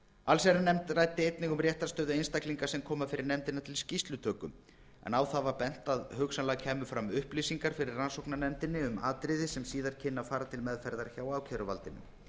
allsherjarnefnd ræddi einnig um réttarstöðu einstaklinga sem koma fyrir nefndina til skýrslutöku en á það var bent að hugsanlega kæmu fram upplýsingar fyrir rannsóknarnefndinni um atriði sem síðar kynnu að fara til meðferðar hjá ákæruvaldinu